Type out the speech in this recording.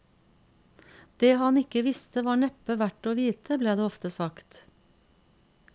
Det han ikke visste, var neppe verdt å vite, ble det ofte sagt.